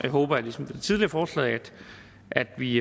håber jeg ligesom ved det tidligere forslag at vi